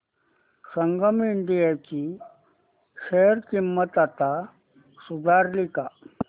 संगम India ची share किंमत आता सुधारली का